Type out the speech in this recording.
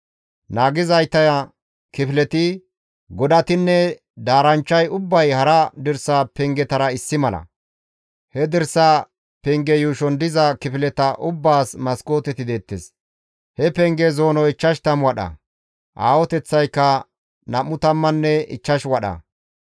Naagizayta kifileti, godatinne daaranchchay ubbay hara dirsa pengetara issi mala. He dirsa penge yuushon diza kifileta ubbaas maskooteti deettes. He penge zoonoy 50 wadha; aahoteththaykka nam7u tammanne ichchash wadha.